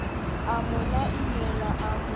a mo laimela a mo